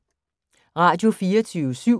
Radio24syv